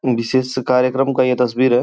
बिशेष कार्यक्रम का यह तस्वीर है।